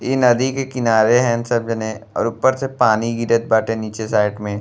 ई नदी के किनार हैं सब जने और ऊपर से पानी गिरत बाटे नीचे साइड में।